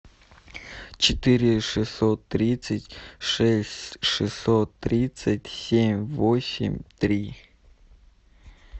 четыре шестьсот тридцать шесть шестьсот тридцать семь восемь три